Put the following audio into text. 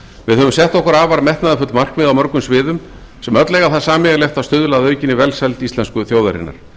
við höfum sett okkur afar metnaðarfull markmið á mörgum sviðum sem öll eiga það sameiginlegt að stuðla að aukinni velsæld íslensku þjóðarinnar